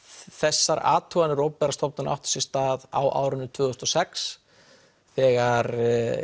þessar athuganir opinberra stofnanna áttu sér stað á árinu tvö þúsund og sex þegar